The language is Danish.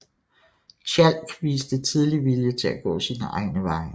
Tjalk viste tidlig vilje til at gå sine egne veje